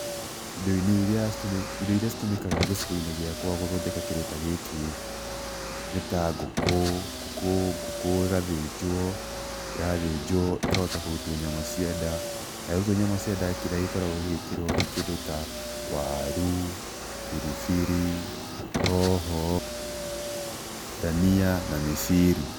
Indo-inĩ irĩa, irio iria citũmĩkaga gicigo-inĩ gĩkũa gũthondeka kĩndũ ta gĩkĩ, nĩ ta ngũkũ, ngũkũ ngũkũ ĩgathĩnjwo, yathĩnjwo ĩkahota kũrutũo nyama cia nda, yarutũo nyama cia nda, kĩrĩa gĩkoragũo gĩgĩkĩrũo nĩ kĩndũ ta, warũ, biribiri, hoho, ndania na mĩciri.